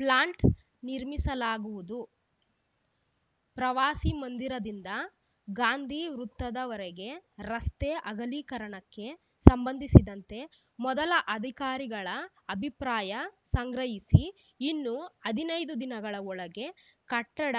plant ನಿರ್ಮಿಸಲಾಗುವುದು ಪ್ರವಾಸಿಮಂದಿರದಿಂದ ಗಾಂಧಿ ವೃತ್ತದವರೆಗೆ ರಸ್ತೆ ಅಗಲೀಕರಣಕ್ಕೆ ಸಂಬಂಧಿಸಿದಂತೆ ಮೊದಲು ಅಧಿಕಾರಿಗಳ ಅಭಿಪ್ರಾಯ ಸಂಗ್ರಹಿಸಿ ಇನ್ನು ಹದಿನೈದು ದಿನಗಳ ಒಳಗೆ ಕಟ್ಟಡ